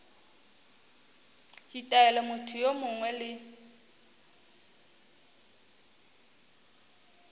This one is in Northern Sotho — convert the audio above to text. ditaelo motho yo mongwe le